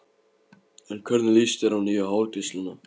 En hvernig líst þér á nýju hárgreiðsluna?